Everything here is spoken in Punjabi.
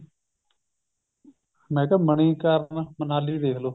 ਮੈਂ ਕਿਹਾ ਮਨੀਕਰਣ ਮਨਾਲੀ ਦੇਖਲੋ